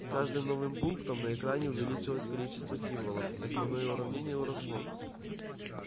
с каждым новым пунктом на экране увеличивалось количество символов и основное уравнение росло